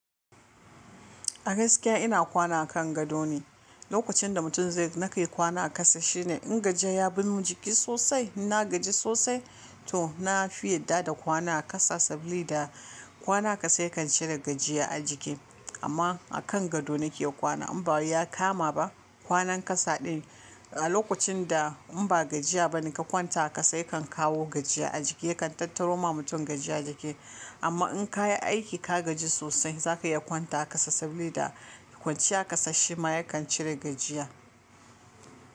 A gaskiya ina kwana a kan gado ne, lokacin da mutum zai nake kwana a ƙasa shine in gajiya ya binmin jiki sosai. Inna gaji sosai to na fi yadda da kwana a ƙasa sabida kwana a ƙasa yakan cire gajiya a jiki. Amma a kan gado nake kwana in ba wai ya kama ba kwanan ƙasa ɗin a lokacin da in ba gajiya bane ka kwanta ƙasa yakan kawo gajiya a jiki yakan tattaro ma mutum gajiya jiki. Amma in kayi aiki ka gaji sosai zaka iya kwanta ƙasa saboda kwanciya ƙasa shi ma yakan cire gajiya.